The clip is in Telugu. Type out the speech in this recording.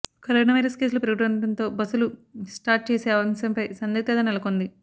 కరోనా వైరస్ కేసులు పెరుగుతుండటంతో బస్సులు స్టార్ట్ చేసే అంశంపై సందిగ్ధత నెలకొంది